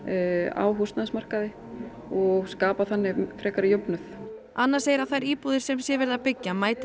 á húsnæðismarkaði og skapa þannig frekari jöfnuð anna segir að þær íbúðir sem sé verið að byggja mæti